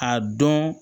A dɔn